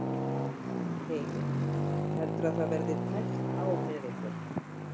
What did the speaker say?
Heimir: Heldurðu að það verði tæpt á með ykkur?